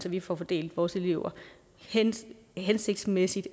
at vi får fordelt vores elever hensigtsmæssigt